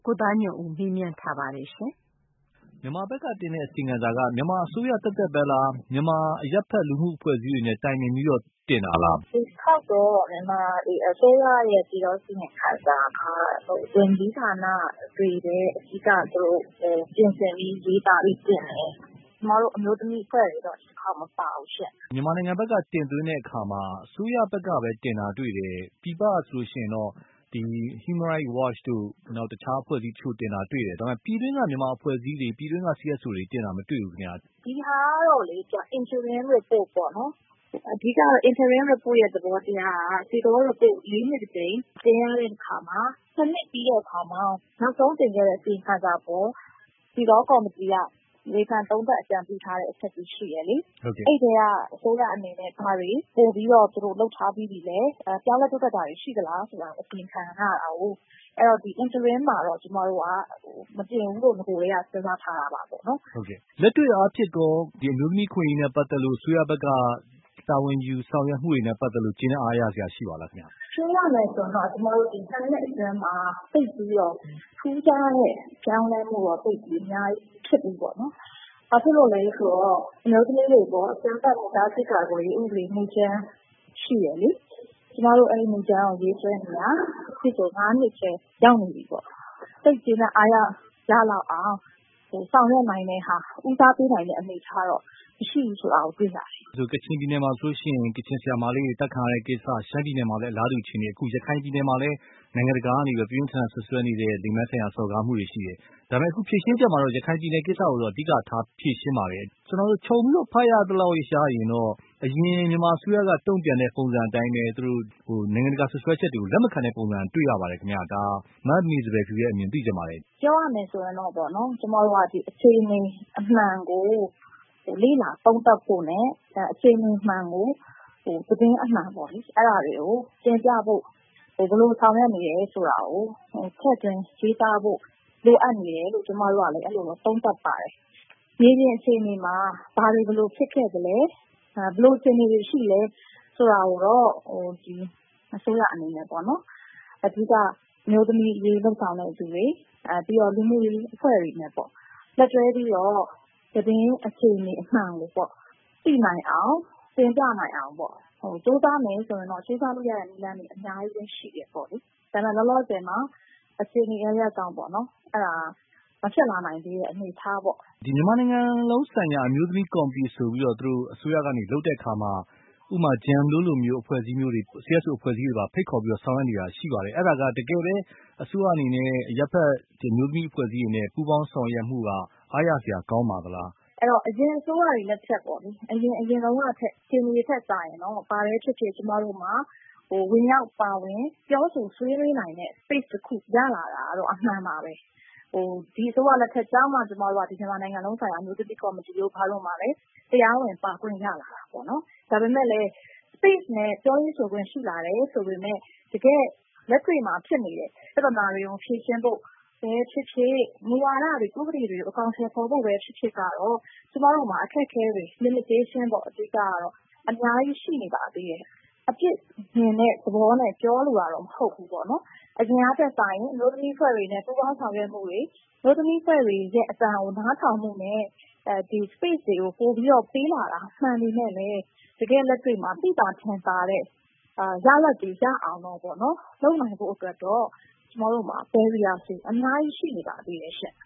ကိုသားညွှန့်ဦး။ ။ မြန်မာဘက်ကတင်တဲ့ အစီရင်ခံစာက မြန်မာအစိုးရသက်သက်ပဲလား။ မြန်မာအရပ်ဖက် လူမှုအဖွဲ့အစည်းတွေနဲ့တိုင်ပင်ပြီးတော့ တင်တာလား။ မမေစံပယ်ဖြူ။ ။ “ဒီတခေါက်တော့ မြန်မာအစိုးရရဲ့ပြည်ထောင်စု အစီရင်ခံစာက ဝန်ကြီးဌာနတွေပဲ အဓိကပြင်ဆင်ပြီးရေးသားပြီးတင်တယ်။ ကျမတို့ အမျိုးသမီးအဖွဲ့တွေတော့ ဒီတခေါက်မပါဘူးရှင့်။” ကိုသားညွှန့်ဦး။ ။ မြန်မာနိုင်ငံဘက်က တင်သွင်းတဲ့အခါမှာ အစိုးရဘက်ကပဲတင်တာတွေ့တယ်။ ပြည်ပကဆိုလို့ရှိရင်တော့ ဒီ Human Rights Watch တို့ နောက် တခြားအဖွဲ့အစည်းအချို့တင်တာတွေ့တယ်။ ဒါမဲ့ ပြည်တွင်းက မြန်မာအဖွဲ့အစည်းတွေ ပြည်တွင်းက CSO တွေ တင်တာမတွေ့ဘူး ခင်ဗျ။ မမေစံပယ်ဖြူ။ ။ ဒီဟာကတော့လေ Interim Report ပေါ့နော်။ အဓိကကတော့ Interim Report ရဲ့ သဘောတရားက ဒီသဘောက ၄ နှစ် တကြိမ် ပြင်ရတဲ့ အခါမှာ ၂ နှစ်ပြီးတဲ့အခါမှာ နောက်ဆုံးတင်ခဲ့တဲ့ အစီရင်ခံစာအပေါ် တည်သော ကော်မတီက ဝေဖန်သုံးသပ်အကြံပြုထားတဲ့ အချက်တွေရှိတယ်လေ။ အဲ့ထဲက အစိုးရအနေနဲ့ ဘာတွေ ပိုပြီးတော့ သူတို့ လုပ်ထားပြီးပြီလဲ။ ပြောင်းလဲတိုးတက်တာတွေရှိသလားဆိုတာ အစီရင်ခံရတာကိုး။ ဒီ Interim Report မှာတော့ ကျမတို့က မပြင်ဘူးလို့ နဂိုထဲက စဉ်းစားထားတာပါပေါ့နော်။” ကိုသားညွှန့်ဦး။ ။ လက်တွေ့အားဖြင့်ရော ဒီအမျိုးသမီးအခွင့်အရေးနဲ့ပတ်သက်လို့ အစိုးရ ဘက်ကတာဝန်ယူ ဆောင်ရွက်မှုတွေနဲ့ ကျေနပ်အားရစရာရှိပါသလားခင်ဗျ။ မမေစံပယ်ဖြူ။ ။ပြောရမယ်ဆိုရင်တော့ ကျမတို့ ၂ နှစ်အတွင်းမှာ ထူးခြားတဲ့ ပြောင်းလဲမှုတော့ သိပ်ပြီးအများကြီး မဖြစ်ဘူးပေါ့နော်။ ဘာဖြစ်လို့လဲဆိုတော့ အမျိုးသမီးတွေ အပေါ်အကြမ်းဖက်မှုတားဆီးကာကွယ်ရေး ဥပဒေမူကြမ်းရှိတယ်လေ။ ကျမတို့ အဲ့ဒီမူကြမ်းကို ရေးဆွဲနေတာ အခုဆို ၅ နှစ်ထဲရောက်နေပြီပေါ့။ သိပ်ကျေနပ်အားရလောက်အောင် ဆောင်ရွက်နိုင်တဲ့ဟာ ဦးစားပေးနိုင်တဲ့ အနေအထားတော့ မရှိဘူးဆိုတာ တွေ့ရတယ်။” ကိုသားညွှန့်ဦး။ ။ကချင်ပြည်နယ်မှာဆိုလို့ရှိရင် ကချင်ဆရာမလေးတွေ သတ်ခံရတဲ့ကိစ္စ ရှမ်းပြည်နယ်မှာလဲ အလားတူအခြေအနေ၊ အခု ရခိုင်ပြည်နယ်မှာလဲ နိုင်ငံတကာကနေ ပြင်းပြင်းထန်ထန်စွပ်စွဲနေတဲ့ လိင်ပိုင်းဆိုင်ရာစော်ကားမှုတွေရှိတယ်။ ဒါပေမယ့် ဖြေရှင်းချက်မှာတော့ ရခိုင်ပြည်နယ် ကိစ္စကိုတော့ အဓိကထားဖြေရှင်းပါတယ်။ ကျနော်တို့ ခြုံပြီးတော့ ဖတ်ရသလောက်ကတော့ အရင် မြန်မာအစိုးရကတုံ့ပြန်တဲ့ ပုံစံအတိုင်းပဲ သူတို့ နိုင်ငံတကာ စွပ်စွဲချက်တွေကို လက်မခံတဲ့ပုံစံတွေ့ရပါတယ်ခင်ဗျ။ ဒါ မမေစံပယ်ဖြူရဲ့အမြင်သိချင်ပါတယ်။ မမေစံပယ်ဖြူ။ ။ ပြောရမယ်ဆိုရင်တော့ပေါ့နော်… ကျမတို့က အခြေအနေအမှန်ကို လေ့လာ သုံးသပ်ဖို့နဲ့ အခြေအနေအမှန်ကို သတင်းအမှန်ပေါ့လေ အဲ့ဒါတွေကို တင်ပြဖို့ ဘယ်လိုဆောင်ရွက်နေတယ်ဆိုတာကို ထည့်သွင်းရေးသားဖို့ လိုအပ်နေတယ်လို့ အဲ့လို သုံးသပ်ပါတယ်။ မြေပြင်အခြေအနေမှာ ဘာတွေဘယ်လိုဖြစ်ခဲ့လဲ ဘယ်လိုအခြေအနေတွေရှိလဲ ဆိုတာကိုတော့ ဒီအစိုးရအနေနဲ့ပေါ့နော်.. အဓိက အမျိုးသမီးအရေးလုပ်ဆောင်တဲ့သူတွေ ပြီးတော့ လူမှုရေးအဖွဲ့တွေနဲ့ပေါ့လက်တွဲပြီးတော့ သတင်းအခြေအနေအမှန်ကိုပေါ့၊ သိနိုင်အောင်တင်ပြနိုင်အောင်ပေါ့၊ ကြိုးစားမယ်ဆိုရင်တော့ ကြိုးစားလို့ ရတဲ့နည်းတွေ အများကြီးပဲ ရှိတယ်ပေါ့လေ။ ဒါမဲ့ လောလောဆယ်မှာ အခြေအနေအရပ်ရပ်ကြောင့်ပေါ့နော် အဲ့ဒါ မဖြစ်လာနိုင်သေးတဲ့ အနေအထားပေါ့။ ကိုသားညွှန့်ဦး။ ။မြန်မာနိုင်ငံလုံးဆိုင်ရာ အမျိုးသမီးကော်မတီဆိုပြီးတော့ ဒီလိုအစိုးရကနေ လုပ်တဲ့အခါမှာ ဥပမာ GEN တို့လိုမျိုး အဖွဲ့အစည်းမျိုးတွေ CSO အဖွဲ့အစည်းတွေပါ ဖိတ်ခေါ်ဆောင်ရွက် နေတာရှိပါတယ်။ အဲ့ဒါ တကယ်ပဲ အစိုးရအနေနဲ့ အရပ်ဖက် ဒီအမျိုးသမီးအဖွဲ့အစည်းတွေနဲ့ ပူးပေါင်းဆောင်ရွက်မှုဟာ အားရစရာကောင်းပါသလား။ မမေစံပယ်ဖြူ။ ။ အဲ့တော့ အရင် အစိုးရတွေလက်ထက်ပေါ့၊ အရင်တုန်းကထက် အခြေအနေ ထက်စာရင်တော့ ဘာပဲဖြစ်ဖြစ် ကျမတို့မှာ ဝင်ရောက်ပါဝင် ပြောဆိုဆွေးနွေးနိုင်တဲ့ space တခု ရလာနိုင်တာကတော့ အမှန်ပါပဲ။ ဒီအစိုးရလက်ထက်ကျမှ ကျမတို့က မြန်မာနိုင်ငံလုံးဆိုင်ရာ အမျိုးသမီး ကော်မတီတို့ဘာတို့ မှာလေ တရားဝင်ပါခွင့်ရလာတာပေါ့နော်။ ဒါပေမယ့်လည်း space နဲ့ ပြောရေးဆိုခွင့်ရှိလာတယ် ဆိုပေမဲ့ တကယ့် လက်တွေ့မှာ ဖြစ်နေတဲ့ ပြဿနာတွေကို ဖြေရှင်းဖို့ပဲဖြစ်ဖြစ် မူဝါဒတွေ ဥပဒေတွေကို အကောင်အထည်ဖော်ဖို့ပဲဖြစ်ဖြစ်ကတော့ ကျမတို့မှာ အခက်အခဲတွေ limitation ပေါ့ အဓိကကတော့ အများကြီးရှိနေပါသေးတယ်။ အပြစ်မြင်တဲ့ သဘောမျိုးနဲ့ပြောလိုတာတော့မဟုတ်ဘူးပေါ့နော်။ အရင်ကထက်စာရင် အမျိုးသမီးအဖွဲ့တွေနဲ့ပူးပေါင်း ဆောင်ရွက်မှုတွေ အမျိုးသမီး အဖွဲ့တွေရဲ့အသံကို နားထောင်မှုနဲ့ ဒီ space တွေကို ပိုပြီးတော့ ပေးလာတာမှန်ပေမဲ့လည်း တကယ့်လက်တွေ့မှာ သိသာထင်သာတဲ့ ရလဒ်တွေရအောင်တော့ပေါ့နော် လုပ်နိုင်ဖို့အတွက်တော့ ကျမတို့မှာ Barriers တွေ အများကြီးရှိနေပါသေးတယ်ရှင့်